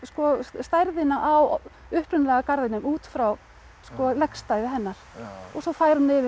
stærðina á upprunalega garðinum út frá hennar og svo fær hún yfir